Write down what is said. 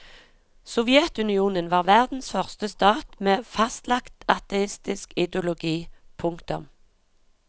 Sovjetunionen var verdens første stat med fastlagt ateistisk ideologi. punktum